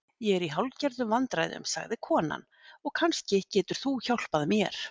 Ég er í hálfgerðum vandræðum, sagði konan, og kannski getur þú hjálpað mér.